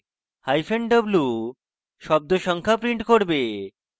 hyphen w শব্দ সংখ্যা print করবে